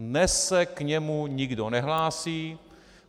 Dnes se k němu nikdo nehlásí.